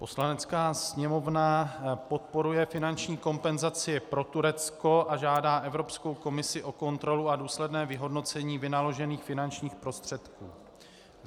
Poslanecká sněmovna podporuje finanční kompenzaci pro Turecko a žádá Evropskou komisi o kontrolu a důsledné vyhodnocení vynaložených finančních prostředků.